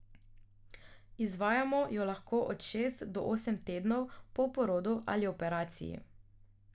Izvajamo jo lahko od šest do osem tednov po porodu ali operaciji.